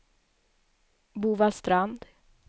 Bovallstrand